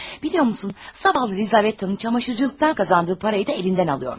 Bilirsən, səhərlər Lizabetin paltaryuyanlıqdan qazandığı pulu da əlindən alırmış.